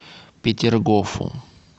петергофу